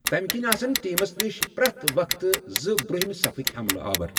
تَمہِ کِنۍ آسن ٹیمَس نِش پرٮ۪تھ وقتہٕ زٕ برٛوہمہِ صفٕکۍ حملہ آور۔